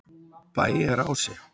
Bæjarási